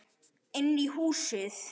Inn í húsið?